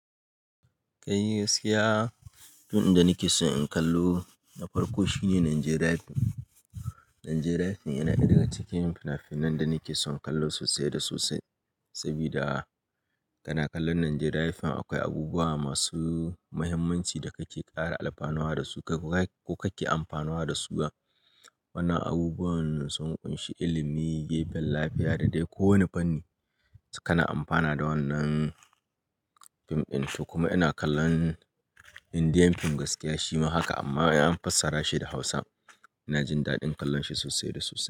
Ai ni gaskiya, fim da nake so in kallo na farko shine Nigerian Film. Nigerian Film yana ɗaya cikin fina-finan da nake son kallo sosai da sosai. Saboda kana kallon Nigerian Film akwai abubuwa masu muhimmanci da kake ƙara amfanowa da su ko kake amfanowa da su. Wannan abubuwan sun kunshi ilimi, lafiya da dai ko wane fanni. Kana amfana da wannan fim ɗin. Kuma ina kallon Indian Film gaskiya shima haka amma an fassara shi da Hausa. Ina jin daɗin kallon shi sosai da sosai.